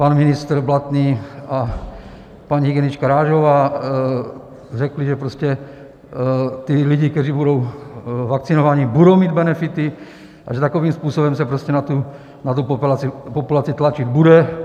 Pan ministr Blatný a paní hygienička Rážová řekli, že prostě ti lidé, kteří budou vakcinovaní, budou mít benefity, a že takovým způsobem se prostě na tu populaci tlačit bude.